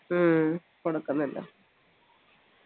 ഹ്മ്മ് കൊടുക്കുന്നില്ല